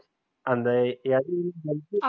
அந்த